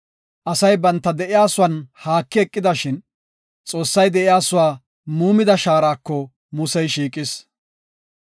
Asay banta de7iyasuwan haakidi eqidashin, Xoossay de7iyasuwa muumida shaarako Musey shiiqis.